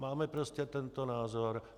Máme prostě tento názor.